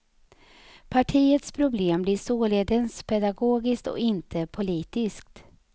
Partiets problem blir således pedagogiskt och inte politiskt.